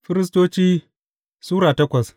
Firistoci Sura takwas